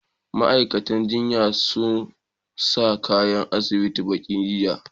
Ma'aikatan jinyan sun sa kayan asibiti baƙi, jiya.